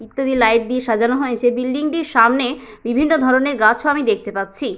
ইত্যাদি লাইট দিয়ে সাজানো হয়েছে বিল্ডিং টির সামনে বিভিন্ন ধরনের গাছ ও আমি দেখতে পাচ্ছি।